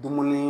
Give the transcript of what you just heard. Dumuni